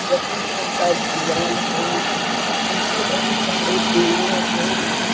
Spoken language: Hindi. सफेद रंग का दिवाल है पीछे बहुत सारे पेड़ है।